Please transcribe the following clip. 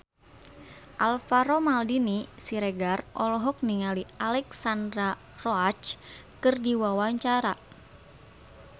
Alvaro Maldini Siregar olohok ningali Alexandra Roach keur diwawancara